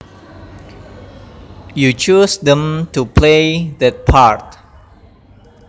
you choose them to play that part